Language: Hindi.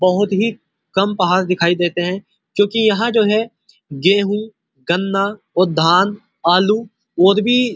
बहुत ही कम पहाड़ दिखाई दे देते है क्यों की यहाँ जो है गेहूं गन्ना धान आलू और भी --